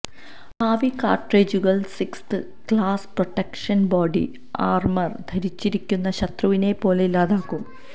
ഭാവി കാർട്രിഡ്ജുകൾ sixth class protection body armour ധരിച്ചിരിക്കുന്ന ശത്രുവിനെപ്പോലും ഇല്ലാതാക്കും